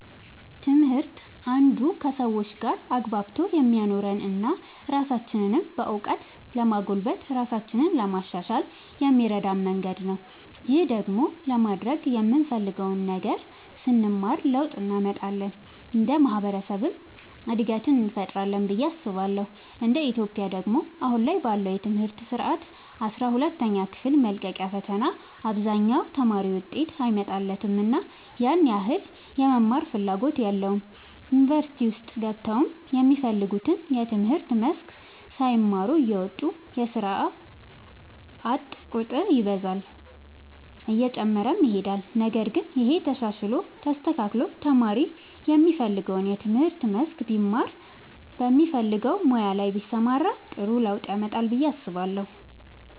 ትምህርት አንዱ ከሰዎች ጋር አግባብቶ የሚያኖረን እና ራሳችንንም በእውቀት ለማጎልበት ራሳችንን ለማሻሻል የሚረዳን መንገድ ነው። ይህን ደግሞ ለማድረግ የምንፈልገውን ነገር ስንማር ለውጥ እንመጣለን እንደ ማህበረሰብም እድገትን እንፈጥራለን ብዬ አስባለሁ እንደ ኢትዮጵያ ደግሞ አሁን ላይ ባለው የትምህርት ስርዓት አስራ ሁለተኛ ክፍል መልቀቂያ ፈተና አብዛኛው ተማሪ ውጤት አይመጣለትምና ያን ያህል የመማርም ፍላጎት የለውም ዩኒቨርሲቲ ውስጥ ገብተውም የሚፈልጉትን የትምህርት መስክ ሳይማሩ እየወጡ የስርዓት ቁጥር ይበዛል እየጨመረም ይሄዳል ነገር ግን ይሄ ተሻሽሎ ተስተካክሎ ተማሪ የሚፈልገውን የትምህርት መስክ ቢማር በሚፈልገው ሙያ ላይ ቢሰማራ ጥሩ ለውጥ ያመጣል ብዬ አስባለሁ።